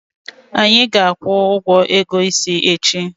Anyị ga-akwụ ụgwọ ego isi echi.